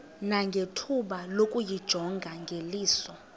nangethuba lokuyijonga ngeliso